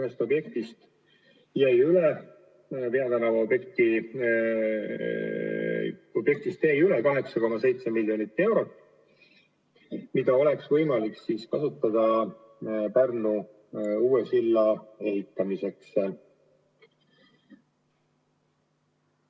Tõesti, Tallinna ühest objektist jäi üle 8,7 miljonit eurot, mida oleks võimalik kasutada Pärnu uue silla ehitamiseks.